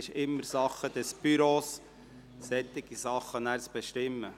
Es ist immer Sache des Büros, darüber zu bestimmen.